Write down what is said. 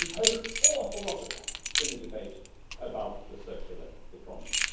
We've heard an awful lot of that in the debate about the circular economy.